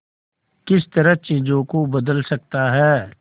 किस तरह चीजों को बदल सकता है